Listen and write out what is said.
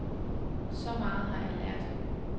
Så meget har jeg lært.